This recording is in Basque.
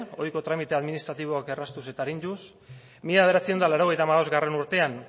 hogeiko tramite administratiboak erraztuz eta arinduz mila bederatziehun eta laurogeita hamalaugarrena urtean